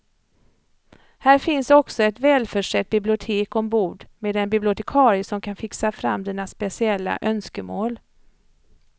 Här finns också ett välförsett bibliotek ombord med en bibliotekarie som kan fixa fram dina speciella önskemål.